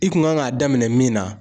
I kun kan k'a daminɛ min na